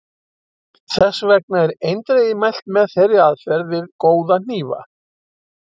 Þess vegna er eindregið mælt með þeirri aðferð við góða hnífa.